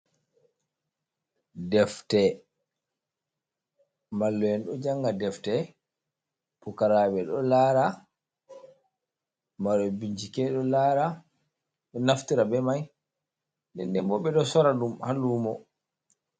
Defte: Mallu'en ɗo janga defte, pukaraɓe ɗo lara, marɓe bincike ɗo lara ɗo naftira be mai ndende bo ɓeɗo sora ɗum ha lumo.